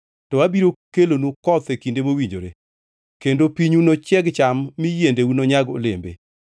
to abiro kelonu koth e kinde mowinjore, kendo pinyu nochieg cham mi yiendeu nonyag olembe.